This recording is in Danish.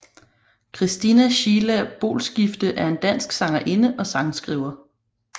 Christina Sheila Boelskifte er en dansk sangerinde og sangskriver